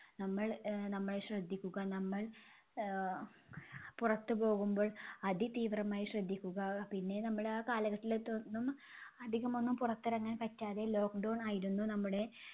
നമ്മൾ ആഹ് നമ്മൾ ശ്രദ്ധിക്കുക. നമ്മൾ ആഹ് പുറത്തു പോകുമ്പോൾ അതിതീവ്രമായി ശ്രദ്ധിക്കുക. പിന്നെ നമ്മള് ആ കാലഘട്ടലിത്തൊന്നും അധികമൊന്നും പുറത്തിറങ്ങാൻ പറ്റാതെ lockdown ആയിരുന്നു നമ്മുടെ